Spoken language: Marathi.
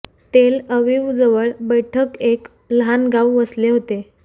तेल अवीव जवळ बैठक एक लहान गाव वसले होते